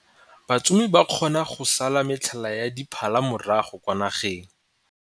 Batsomi ba kgona go sala motlhala wa diphala morago kwa nageng.